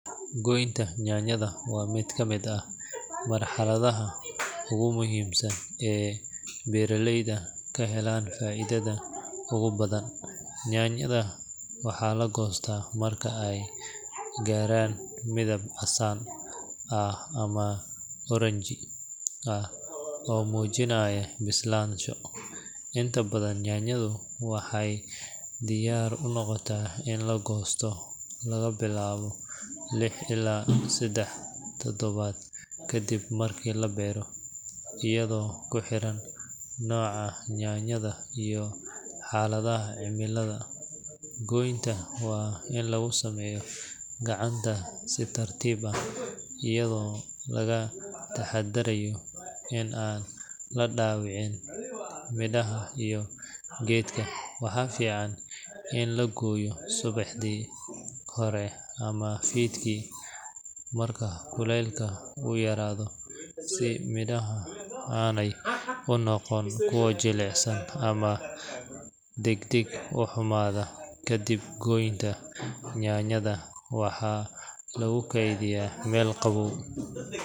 Goynta yaanyada waa mid ka mid ah marxaladaha ugu muhiimsan ee beeraleyda ka helaan faa’iidada ugu badan. Yaanyada waxaa la goostaa marka ay gaaraan midab casaan ah ama oranji ah oo muujinaya bislaansho. Inta badan yaanyadu waxay diyaar u noqdaan in la goosto laga bilaabo lix ilaa siddeed todobaad kadib markii la beero, iyadoo ku xiran nooca yaanyada iyo xaaladaha cimilada. Goynta waa in lagu sameeyaa gacanta si tartiib ah, iyadoo laga taxadarayo in aan la dhaawicin midhaha iyo geedka. Waxaa fiican in la gooyo subaxii hore ama fiidkii marka kuleylka uu yaraado si midhaha aanay u noqon kuwo jilicsan ama degdeg u xumaada. Kadib goynta, yaanyada waxaa lagu keydiyaa meel qabow.